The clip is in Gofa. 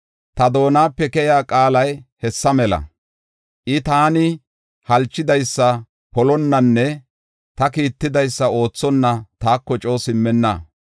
Ta doonape keyiya qaalay hessa mala; I taani halchidaysa polonnanne ta kiittidaysa oothonna taako coo simmenna.